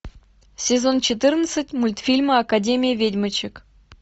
сезон четырнадцать мультфильма академия ведьмочек